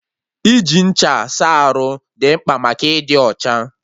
Iji ncha saa arụ dị mkpa maka ịdị ọcha